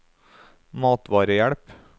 matvarehjelp